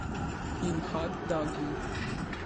In hot dogi.